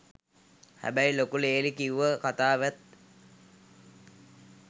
හැබැයි ලොකු ලේලි කිව්ව කතාවෙත්